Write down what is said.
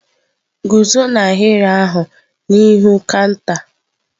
Guzo n'ahịrị ahụ n'ihu kanta!.